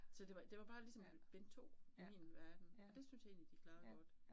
Så det var det var bare ligesom bind 2 i min verden, og det synes jeg egentlig, de klarede godt